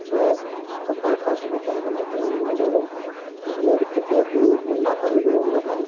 super fast missile বনাই দিলে এইবিলাকৰ এইবিলাক এতিয়া তো নাচালে তো গম নাপায়।